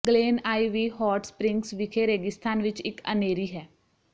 Glen Ivy Hot Springs ਵਿਖੇ ਰੇਗਿਸਤਾਨ ਵਿਚ ਇਕ ਅਨ੍ਹੇਰੀ ਹੈ